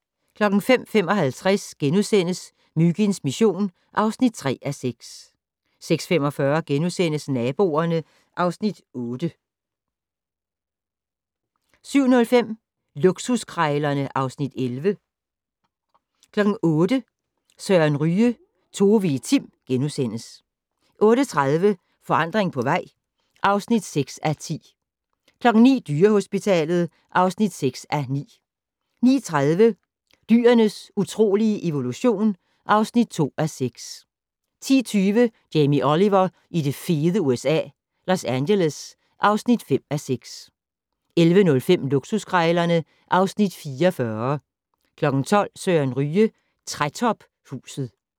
05:55: Myginds mission (3:6)* 06:45: Naboerne (Afs. 8)* 07:05: Luksuskrejlerne (Afs. 11) 08:00: Søren Ryge: Tove i Tim * 08:30: Forandring på vej (6:10) 09:00: Dyrehospitalet (6:9) 09:30: Dyrenes utrolige evolution (2:6) 10:20: Jamie Oliver i det fede USA - Los Angeles (5:6) 11:05: Luksuskrejlerne (Afs. 44) 12:00: Søren Ryge: Trætophuset